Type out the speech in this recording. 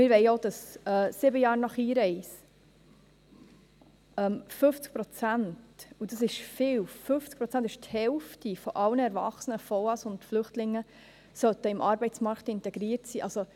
Wir wollen auch, dass sieben Jahre nach Einreise 50 Prozent – und dies ist viel, 50 Prozent ist die Hälfte aller erwachsenen vorläufig Aufgenommenen und Flüchtlinge – im Arbeitsmarkt integriert sein sollen.